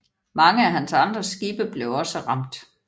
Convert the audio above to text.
Mange af hans andre skibe blev også ramt